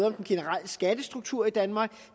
om den generelle skattestruktur i danmark